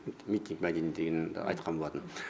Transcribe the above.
митинг мәдениеті дегенді айтқан болатын